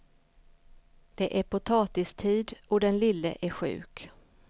Det är potatistid och den lille är sjuk.